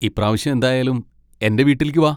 ഇപ്രാവശ്യം എന്തായാലും എൻ്റെ വീട്ടിൽക്ക് വാ.